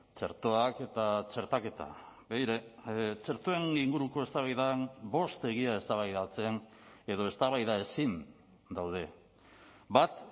txertoak eta txertaketa begira txertoen inguruko eztabaidan bost egia eztabaidatzen edo eztabaida ezin daude bat